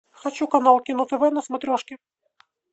хочу канал кино тв на смотрешке